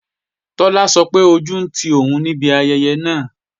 Tọ́lá sọ pé ojú ń ti òun níbi ayẹyẹ náà